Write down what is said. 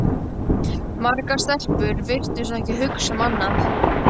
Margar stelpur virtust ekki hugsa um annað.